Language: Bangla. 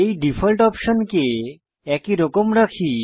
এই ডিফল্ট অপশনকে একই রকম রাখি